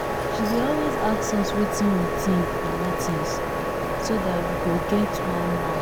she dey always ask us wetin we think for meetings so that we go get one mouth